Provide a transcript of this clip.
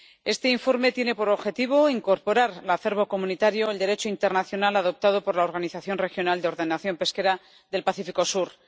Este informe tiene por objetivo incorporar al acervo comunitario el Derecho internacional adoptado por la Organización Regional de Ordenación Pesquera del Pacífico Sur.